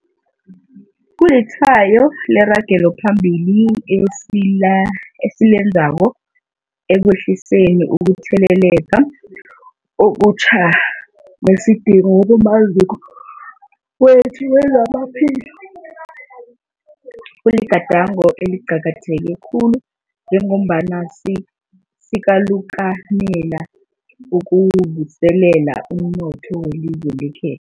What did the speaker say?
Kulitshwayo leragelo phambili esilenzako ekwehliseni ukutheleleka okutjha nesidingo kumaziko wethu wezamaphilo. Kuligadango eliqakatheke khulu njengombana sikalukanela ukuvuselela umnotho welizwe lekhe